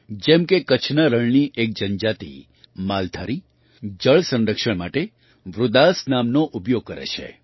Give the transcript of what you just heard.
જેમ કે કચ્છના રણની એક જનજાતિ માલધારી જળ સંરક્ષણ માટે વૃદાસ નામનો ઉપયોગ કરે છે